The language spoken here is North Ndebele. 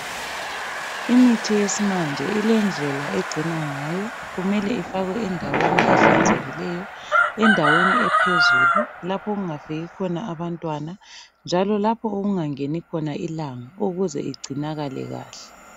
Imithi yesimanje ilendlela egcinwa ngayo, kumele ifakwe endaweni ehlanzekileyo, endaweni ephezulu lapho okungafiki khona abantwana, njalo lapho okungangeni khona ilanga ukuze igcinakale kahle.